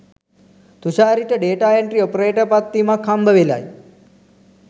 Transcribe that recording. තුෂාරිට data entry operator පත්වීමක් හම්බවෙලයි